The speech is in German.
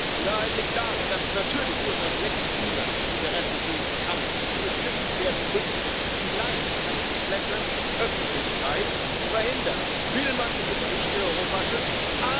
Die Wahrheit liegt darin, dass es natürlich durchaus legitime Interessen geben kann, die geschützt werden müssen und die vielleicht eine komplette Öffentlichkeit verhindern, will man Industrie in Europa schützen.